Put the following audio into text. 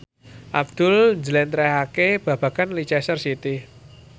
Abdul njlentrehake babagan Leicester City